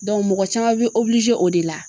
mɔgɔ caman be o de la